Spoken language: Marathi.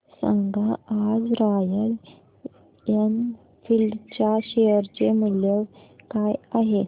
सांगा आज रॉयल एनफील्ड च्या शेअर चे मूल्य काय आहे